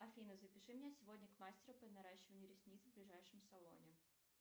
афина запиши меня сегодня к мастеру по наращиванию ресниц в ближайшем салоне